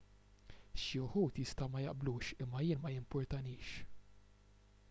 xi wħud jistgħu ma jaqblux imma jien ma jimpurtanix